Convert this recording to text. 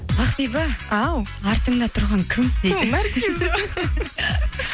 ақбибі ау артыңда тұрған кім дейді